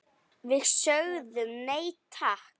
Við sögðum nei, takk!